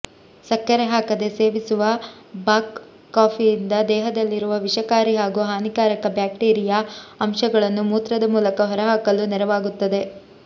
ಸಕ್ಕರೆ ಹಾಕದೆ ಸೇವಿಸುವ ಬಾಕ್ ಕಾಫಿಯಿಂದ ದೇಹದಲ್ಲಿರುವ ವಿಷಕಾರಿ ಹಾಗೂ ಹಾನಿಕಾರಕ ಬ್ಯಾಕ್ಟೀರಿಯಾ ಅಂಶಗಳನ್ನು ಮೂತ್ರದ ಮೂಲಕ ಹೊರಹಾಕಲು ನೆರವಾಗುತ್ತದೆ